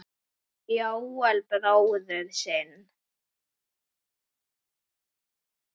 Jóel bróður sinn.